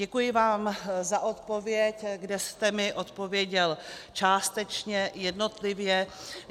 Děkuji vám za odpověď, kde jste mi odpověděl částečně, jednotlivě.